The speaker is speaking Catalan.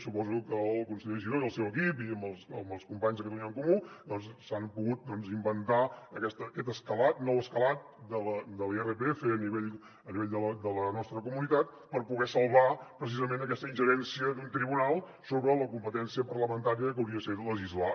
suposo que el conseller giró i el seu equip i amb els companys de catalunya en comú doncs s’han pogut inventar aquest escalat nou escalat de l’irpf a nivell de la nostra comunitat per poder salvar precisament aquesta ingerència d’un tribunal sobre la competència parlamentària que hauria de ser legislar